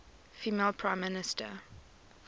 female prime minister